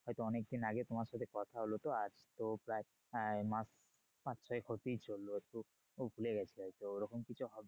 হয়তো অনেকদিন আগে তোমার সাথে কথা হলো তো আজ তো প্রায় আহ মাস পাঁচ ছয়েক হতেই চললো। একটু ভুলে গেছি হয়তো ওরকম কিছু হবে।